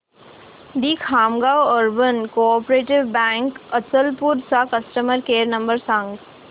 दि Khamgaon urban cooperative bank Achalpur चा customer care number सांग